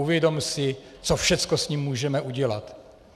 Uvědom si, co všechno s ním můžeme udělat.